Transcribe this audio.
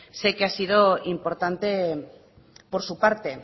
sé que ha sido importante por su parte